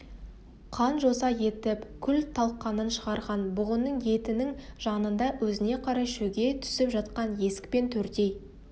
қан-жоса етіп күл-талқанын шығарған бұғының етінің жанында өзіне қарай шөге түсіп жатқан есік пен төрдей